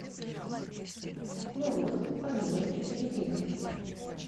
мурод фанилович резинов